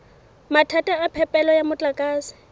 mathata a phepelo ya motlakase